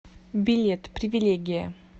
билет привилегия